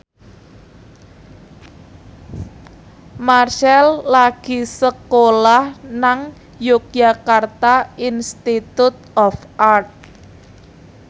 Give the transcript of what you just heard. Marchell lagi sekolah nang Yogyakarta Institute of Art